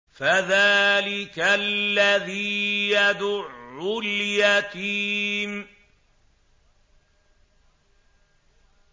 فَذَٰلِكَ الَّذِي يَدُعُّ الْيَتِيمَ